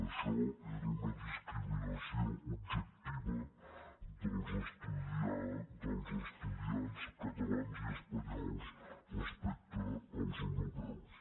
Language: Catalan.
això era una discriminació objectiva dels estudiants catalans i espanyols respecte als europeus